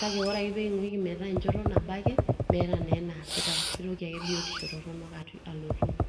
kake ore peeking'uiki metaa enchoto nabo ake meeta naa enaasitae kitoki ake biotisho torronok alotu.